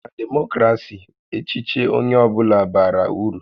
Na Demokrasi, echiche onye ọ bụla bara uru